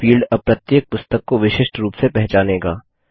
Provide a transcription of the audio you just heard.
यह फील्ड अब प्रत्येक पुस्तक को विशिष्ट रूप से पहचानेगा